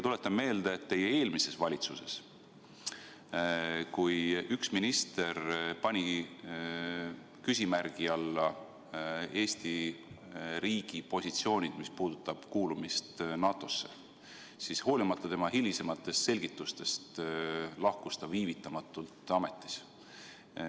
Tuletan meelde, et kui teie eelmises valitsuses üks minister pani küsimärgi alla Eesti riigi positsioonid, mis puudutavad kuulumist NATO-sse, siis hoolimata tema hilisematest selgitustest lahkus ta viivitamatult ametist.